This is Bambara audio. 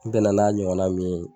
N bɛna n'a ɲɔgɔnna min ye